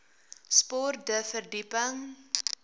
sport de verdieping